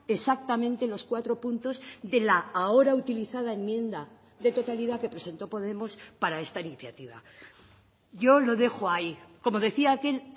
exactamente los cuatro puntos de la ahora utilizada enmienda de totalidad que presentó podemos para esta iniciativa yo lo dejo ahí como decía aquel